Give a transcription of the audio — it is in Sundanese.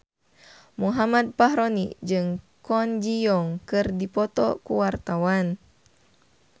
Muhammad Fachroni jeung Kwon Ji Yong keur dipoto ku wartawan